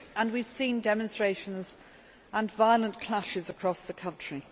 We have seen demonstrations and violent clashes across the country.